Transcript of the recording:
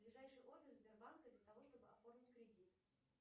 ближайший офис сбербанка для того чтобы оформить кредит